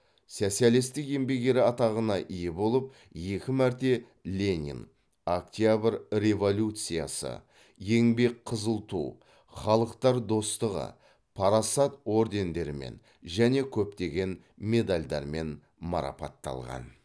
социалистік еңбек ері атағына ие болып екі мәрте ленин октябрь революциясы еңбек қызыл ту халықтар достығы парасат ордендерімен және көптеген медальдармен марапатталған